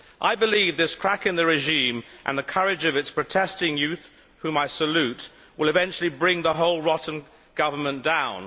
I believe this crack in the regime and the courage of its protesting youth whom I salute will eventually bring the whole rotten government down.